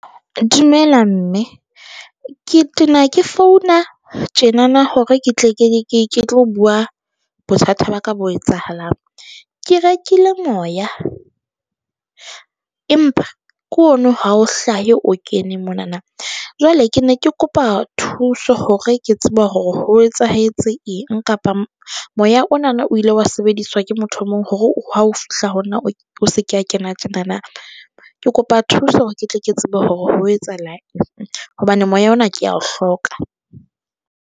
Dumela mme ke tena ke founa tjena na na hore ke tle ke tlo bua bothata ba ka bo etsahalang. Ke rekile moya empa ke ono ha o hlahe o kene mona na jwale ke ne ke kopa thuso hore ke tseba hore ho etsahetse eng kapa moya ona, o ile wa sebediswa ke motho o mong hore ha ho fihla ho nna o se ke wa kena tjenana. Ke kopa thuso hore ke tle ke tsebe hore ho etsahalang hobane moya ona ke ya o hloka.